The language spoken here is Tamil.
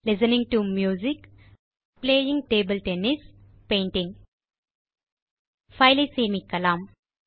listening to music playing table tennis painting file ஐ சேமிக்கலாம்